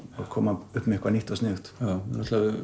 að koma upp með eitthvað nýtt og sniðugt